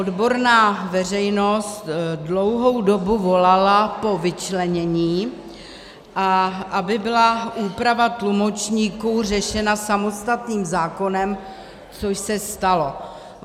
Odborná veřejnost dlouhou dobu volala po vyčlenění, a aby byla úprava tlumočníků řešena samostatným zákonem, což se stalo.